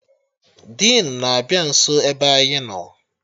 Dinu na-abịa nso ebe anyị nọ